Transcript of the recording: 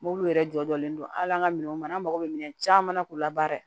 Mobili yɛrɛ jɔlen don hali an ka minɛnw mana an mago bɛ minɛn caman na k'u labaara